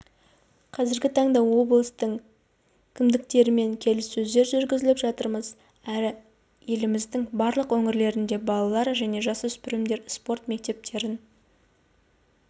қазіргі таңда облыстың кімдіктерімен келіссөздер жүргізіп жатырмыз әрі еліміздің барлық өңірінде балалар жне жасөспірімдер спорт мектептерін